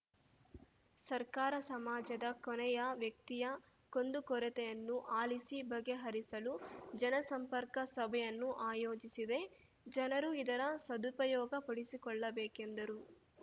ಸರ್ಕಾರ ಸಮಾಜದ ಕೊನೆಯ ವ್ಯಕ್ತಿಯ ಕುಂದುಕೊರತೆಯನ್ನು ಆಲಿಸಿ ಬಗೆಹರಿಸಲು ಜನಸಂಪರ್ಕ ಸಭೆಯನ್ನು ಆಯೋಜಿಸಿದೆ ಜನರು ಇದರ ಸದುಪಯೋಗ ಪಡಿಸಿಕೊಳ್ಳಬೇಕೆಂದರು